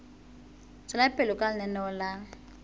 tswela pele ka lenaneo la